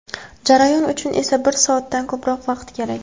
Jarayon uchun esa bir soatdan ko‘proq vaqt kerak.